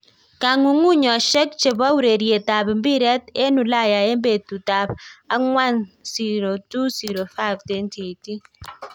Kongungunyoshekchepo ureret ap piret en ulaya en petut ap akwan 02.05.2018